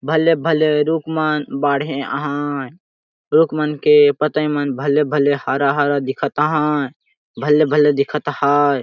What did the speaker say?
भले -भले रुखमन बढ़े अहय रुकमन के पतईमन भले -भले हरा -हरा दिखत अहय भले-भले दिखत अहय।